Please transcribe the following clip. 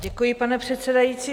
Děkuji, pane předsedající.